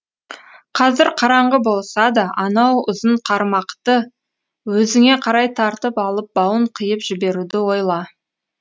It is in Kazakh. қазір қараңғы болса да анау ұзын қармақты өзіңе қарай тартып алып бауын қиып жіберуді ойла